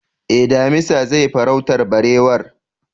Eh, damisa zai farautar barewar